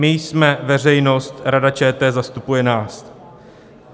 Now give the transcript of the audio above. My jsme veřejnost, Rada ČT zastupuje nás.